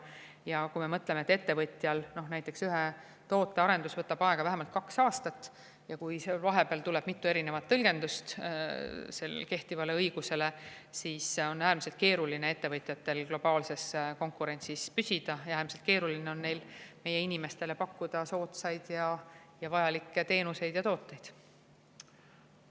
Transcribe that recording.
Ja kui me mõtleme, et ettevõtjal võtab ühe toote arendus aega vähemalt kaks aastat ja kui seal vahepeal tuleb kehtivale õigusele mitu erinevat tõlgendust, siis on ettevõtjatel äärmiselt keeruline globaalses konkurentsis püsida, äärmiselt keeruline on neil meie inimestele soodsaid ja vajalikke teenuseid ja tooteid pakkuda.